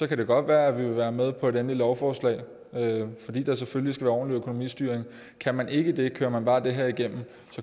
kan det godt være at vi vil være med på et endeligt lovforslag fordi der selvfølgelig skal være ordentlig økonomistyring kan man ikke det kører man bare det her igennem